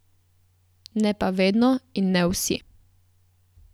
Ne pa vedno in ne vsi!